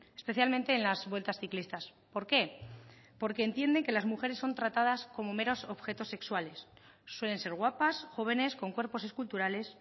especialmente en las vueltas ciclistas por qué porque entienden que las mujeres son tratadas como meros objetos sexuales suelen ser guapas jóvenes con cuerpos esculturales